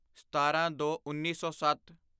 ਸਤਾਰਾਂਦੋਉੱਨੀ ਸੌ ਸੱਤ